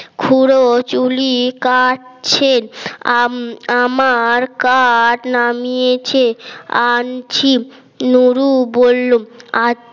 খুড়ো চুলি কাটছেন আমার কাট নামিয়েছে আনছি নুরু বলল